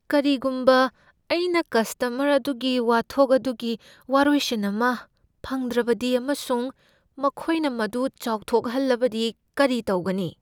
ꯀꯔꯤꯒꯨꯝꯕ ꯑꯩꯅ ꯀꯁꯇꯃꯔ ꯑꯗꯨꯒꯤ ꯋꯥꯊꯣꯛ ꯑꯗꯨꯒꯤ ꯋꯥꯔꯣꯏꯁꯤꯟ ꯑꯃ ꯐꯪꯗ꯭ꯔꯕꯗꯤ ꯑꯃꯁꯨꯡ ꯃꯈꯣꯏꯅ ꯃꯗꯨ ꯆꯥꯎꯊꯣꯛꯍꯜꯂꯕꯗꯤ ꯀꯔꯤ ꯇꯧꯒꯅꯤ?